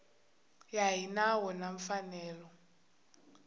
ya hi nawu na mfanelo